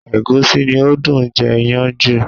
Ẹ̀gúsí ni ó dùn jẹ iyán jù